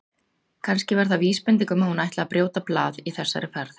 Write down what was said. Kannski var það vísbending um að hún ætlaði að brjóta blað í þessari ferð.